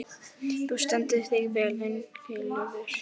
Þú stendur þig vel, Ingileifur!